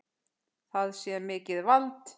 Það sé mikið vald.